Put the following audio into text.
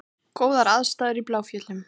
Góðar aðstæður í Bláfjöllum